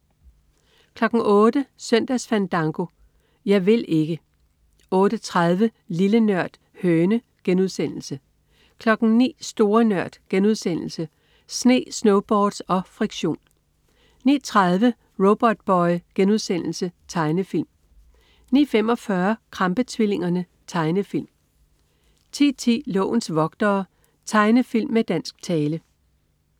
08.00 Søndagsfandango. Jeg vil ikke 08.30 Lille Nørd. Høne* 09.00 Store Nørd.* Sne, snowboards og friktion 09.30 Robotboy.* Tegnefilm 09.45 Krampe-tvillingerne. Tegnefilm 10.10 Lovens vogtere. Tegnefilm med dansk tale